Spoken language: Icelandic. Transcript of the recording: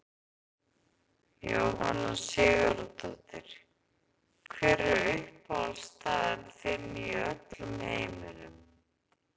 Jóhanna Sigurðardóttir Hver er uppáhaldsstaðurinn þinn í öllum heiminum?